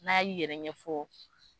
N'a yi yɛrɛ ɲɛfɔ.